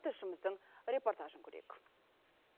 тілшіміздің репортажын көрейік